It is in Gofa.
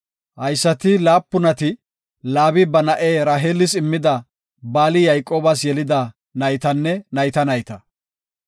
Haysati laapunati Laabi ba na7e Raheelis immida Baali Yayqoobas yelida naytanne nayta nayta.